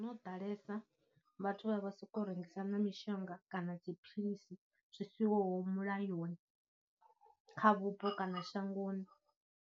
Hono ḓalesa vhathu vha vha sokou rengisa na mishonga kana dziphilisi zwi sihoho mulayoni kha vhupo kana shangoni.